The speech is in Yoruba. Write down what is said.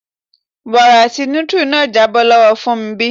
Wara ti nutri náà jábọ́ lọ́wọ Fúnmbí.